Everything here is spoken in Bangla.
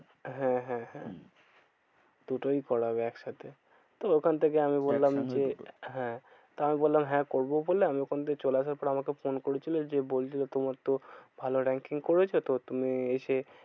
হ্যাঁ হ্যাঁ হ্যাঁ দুটোই করাবে একসাথে। তো ওখান থেকে আমি বললাম একসঙ্গে দুটো যে হ্যাঁ। তো আমি বললাম হ্যাঁ করবো বলে আমি ওখান থেকে চলে আসার পরে আমাকে ফোন করেছিল। যে বলছিলো তোমার তো ভালো ranking করেছো। তো তুমি এসে